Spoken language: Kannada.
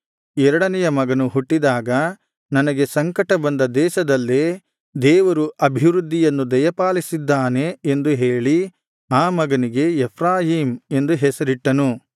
ಎರಡನೆಯ ಮಗನು ಹುಟ್ಟಿದಾಗ ನನಗೆ ಸಂಕಟ ಬಂದ ದೇಶದಲ್ಲೇ ದೇವರು ಅಭಿವೃದ್ಧಿಯನ್ನು ದಯಪಾಲಿಸಿದ್ದಾನೆ ಎಂದು ಹೇಳಿ ಆ ಮಗನಿಗೆ ಎಫ್ರಾಯೀಮ್ ಎಂದು ಹೆಸರಿಟ್ಟನು